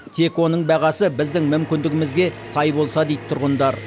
тек оның бағасы біздің мүмкіндігімізге сай болса дейді тұрғындар